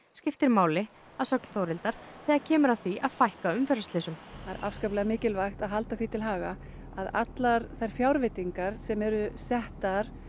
skiptir máli að sögn Þórhildar þegar kemur að því að fækka umferðarslysum það er afskaplega mikilvægt að halda því til haga að allar fjárveitingar sem eru settar